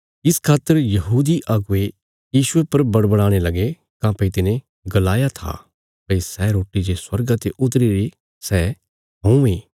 इस खातर यहूदी अगुवे यीशुये पर बड़बड़ाणे लगे काँह्भई तिने गलाया था भई सै रोटी जे स्वर्गा ते उतरी री सै हऊँ इ